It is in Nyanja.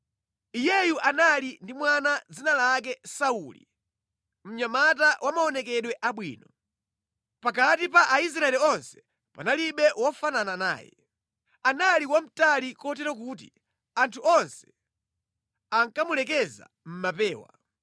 Iyeyu anali ndi mwana dzina lake Sauli, mnyamata wa maonekedwe abwino. Pakati pa Aisraeli onse panalibe wofanana naye. Anali wamtali kotero kuti anthu onse ankamulekeza mʼmapewa.